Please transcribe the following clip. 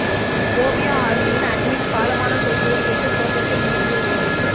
ஓவியா ஆர்மியின் அட்மின் காலமான செய்தியை கேட்டு சோகத்தில் மூழ்கிய ஓவியா